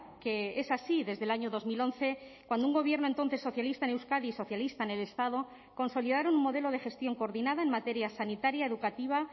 que es así desde el año dos mil once cuando un gobierno entonces socialista en euskadi y socialista en el estado consolidaron un modelo de gestión coordinada en materia sanitaria educativa